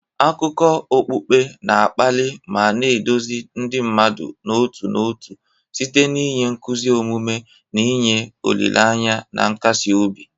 Akụkọ okpukpe na-akpali ma na-eduzi ndị mmadụ n'otu n'otu site n'inye nkuzi omume, na inye olileanya na nkasi obi.